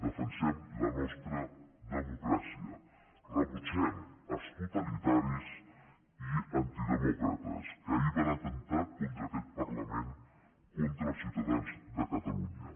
defensem la nostra democràcia rebutgem els totalitaris i antide mòcrates que ahir van atemptar contra aquest par lament contra els ciutadans de catalunya